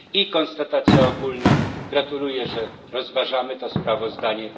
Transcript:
I konstatacja ogólna gratuluję, że rozważamy to sprawozdanie.